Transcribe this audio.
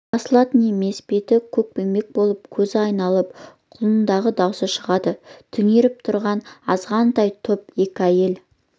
басылатын емес беті көкпеңбек болып көзі айналып құлындағы даусы шығады түнеріп тұрған азғантай топ екі әйел